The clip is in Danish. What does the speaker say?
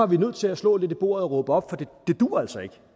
vi nødt til at slå lidt i bordet og råbe op for det duer altså ikke